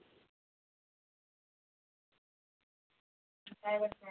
काय बोलतेस